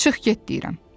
Çıx get deyirəm.